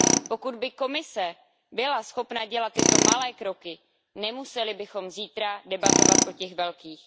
Pokud by Komise byla schopna dělat tyto malé kroky, nemuseli bychom zítra debatovat o těch velkých.